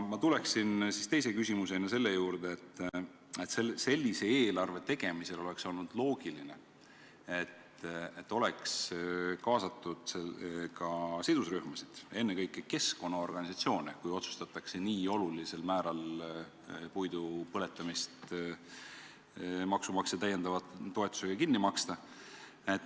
Ma tulen teise küsimusega selle juurde, et sellise eelarve tegemisel, kui otsustatakse nii olulisel määral puidu põletamist maksumaksja täiendava toetusega kinni maksta, oleks olnud loogiline, et oleks kaasatud ka sidusrühmasid, ennekõike keskkonnaorganisatsioone.